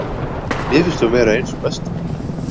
Mér finnst hún vera ein sú besta.